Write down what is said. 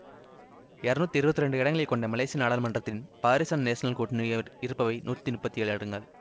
இருநூற்றி இருபத்தி இரண்டு இடங்களை கொண்ட மலேசிய நாடாளுமன்றத்தில் பாரிசான் நேசனல் கூட்டணியிடம் இருப்பவை நூற்றி முப்பத்தி ஏழு இடங்கள்